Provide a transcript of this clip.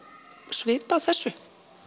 svipað þessu